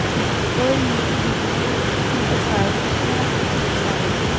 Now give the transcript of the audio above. otte ni en nul niogtredive et hundrede og seksogtredive